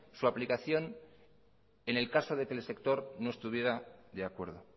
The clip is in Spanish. su aplicación en el caso de que el sector no estuviera de acuerdo